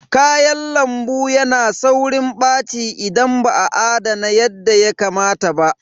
Kayan lambu yana saurin ɓaci idan ba a adana yadda ya kamata ba.